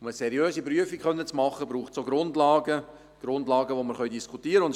Um eine seriöse Prüfung vorzunehmen, braucht es Grundlagen, über die wir diskutieren können.